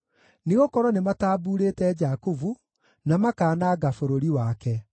nĩgũkorwo nĩmatambuurĩte Jakubu na makaananga bũrũri wake.